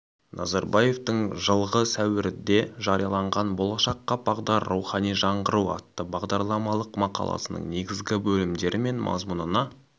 назарбаевтың жылғы сәуірде жарияланған болашаққа бағдар рухани жаңғыру атты бағдарламалық мақаласының негізгі бөлімдері мен мазмұнына